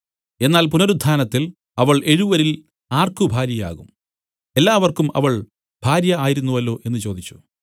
എന്നാൽ പുനരുത്ഥാനത്തിൽ അവൾ എഴുവരിൽ ആർക്ക് ഭാര്യയാകും എല്ലാവർക്കും അവൾ ഭാര്യ ആയിരുന്നുവല്ലോ എന്നു ചോദിച്ചു